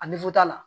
A nifu ta la